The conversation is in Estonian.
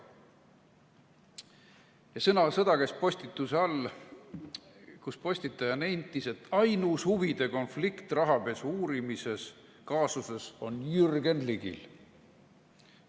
Sõnasõda käis postituse all, kus postitaja nentis, et ainus huvide konflikt rahapesu uurimise kaasuses on Jürgen Ligil.